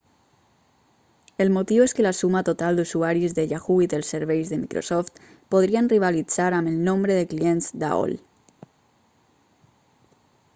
el motiu és que la suma total d'usuaris de yahoo i dels serveis de microsoft podrien rivalitzar amb el nombre de clients d'aol